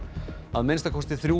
að minnsta kosti þrjú